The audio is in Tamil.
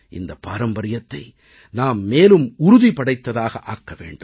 இந்தப் பாரம்பரியத்தை நாம் மேலும் உறுதிபடைத்ததாக ஆக்க வேண்டும்